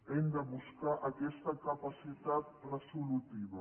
hem de buscar aquesta capacitat resolutiva